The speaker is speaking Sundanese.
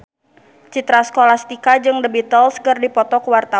Citra Scholastika jeung The Beatles keur dipoto ku wartawan